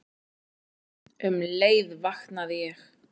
Um leið vaknaði ég.